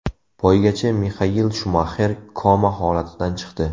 Poygachi Mixael Shumaxer koma holatidan chiqdi.